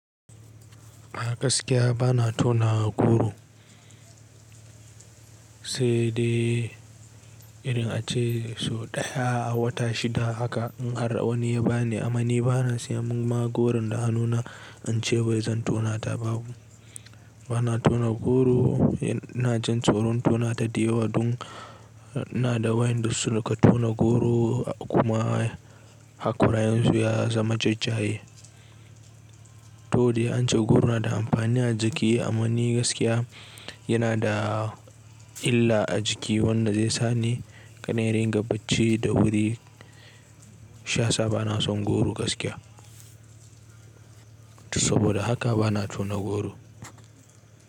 A gaskiya bana tauna goro, sai dai idan ace so ɗaya a wata shida haka in har wani ya bani. Amma ni bana siyan ma goron da hannuna, ince wai zan tauna ta babu. Bana tauna goro, na jin tsoron tauna ta da yawa dun na da wa'ƴanda su suka tauna goro kuma hakoran su ya zama jajaye. To dai ance goro na da amfani a jiki amma ni gaskiya yana da illa a jiki wanda zai sani ƙada in ringa bacci da wuri. Shiya sa bana son goro gaskiya. Saboda haka bana tauna goro.